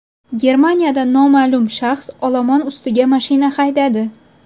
Germaniyada noma’lum shaxs olomon ustiga mashina haydadi.